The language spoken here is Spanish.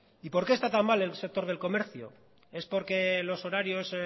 y porque está tan mal el sector del comercio es porque los horarios